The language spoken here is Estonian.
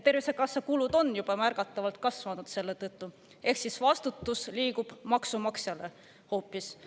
Tervisekassa kulud on juba märgatavalt kasvanud selle tõttu, ehk siis vastutus liigub maksumaksjale hoopis.